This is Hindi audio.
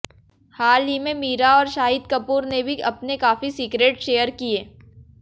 हाल ही में मीरा और शाहिद कपूर ने भी अपने काफी सीक्रेट्स शेयर किए